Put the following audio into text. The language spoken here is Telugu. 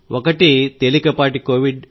ఒకటి తేలికపాటి కోవిడ్